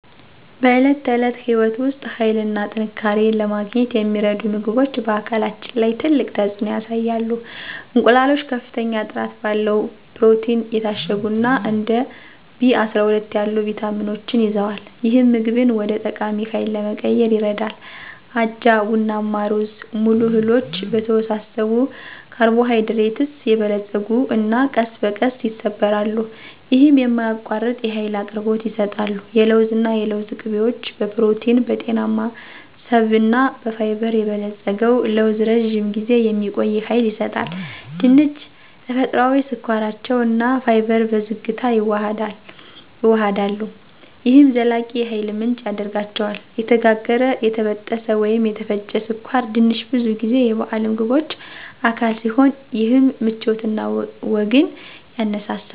በዕለት ተዕለት ሕይወት ውስጥ ኃይልን እና ጥንካሬን ለማግኘት የሚረዱ ምግቦች በአካላችን ላይ ትልቅ ተፅዕኖ ያሳያሉ። እንቁላሎች ከፍተኛ ጥራት ባለው ፕሮቲን የታሸጉ እና እንደ ቢ12 ያሉ ቪታሚኖችን ይዘዋል፣ ይህም ምግብን ወደ ጠቃሚ ሃይል ለመቀየር ይረዳል። አጃ፣ ቡናማ ሩዝ - ሙሉ እህሎች በተወሳሰቡ ካርቦሃይድሬትስ የበለፀጉ እና ቀስ በቀስ ይሰበራሉ። ይህም የማያቋርጥ የኃይል አቅርቦት ይሰጣሉ። የለውዝ እና የለውዝ ቅቤዎች በፕሮቲን፣ በጤናማ ስብ እና በፋይበር የበለጸገው ለውዝ ለረጅም ጊዜ የሚቆይ ሃይል ይሰጣል። ድንች -ተፈጥሯዊ ስኳራቸው እና ፋይበር በዝግታ ይዋሃዳሉ፣ ይህም ዘላቂ የኃይል ምንጭ ያደርጋቸዋል። የተጋገረ፣ የተጠበሰ ወይም የተፈጨ ስኳር ድንች ብዙ ጊዜ የበዓል ምግቦች አካል ሲሆን ይህም ምቾት እና ወግን ያነሳሳል።